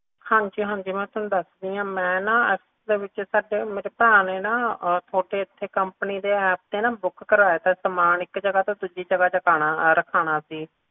ਹਾਂਜੀ ਹਾਂਜੀ ਮੈਂ ਨਾ ਤੁਹਾਨੂੰ ਦੱਸਦੀ ਆ ਅਸਲ ਚ ਸੱਚ ਮੇਰੇ ਭਰਾ ਨੇ ਨਾ ਤੁਹਾਡੇ ਓਥੇ companyapp ਤੇ ਨਾ ਕਰਾਇਆ ਸੀ ਸਮਾਨ ਇਕ ਜਗਾਹ ਤੋਂ ਦੂਜੀ ਜਗਾਹ ਚਕਾਨਾ ਰਖਵਾਣਾ ਸੀ